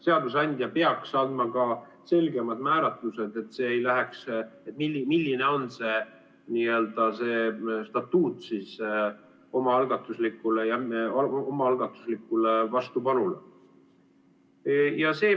Seadusandja peaks andma ka selgemad määratlused, milline on see n-ö statuut omaalgatuslikule vastupanule.